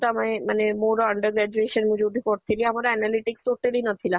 ଆମେ ମାନେ ମୋର under graduation ଯୋଉଠି ପଢ଼ୁଥିଲି ଆଉ ମୋର analytics totally ନଥିଲା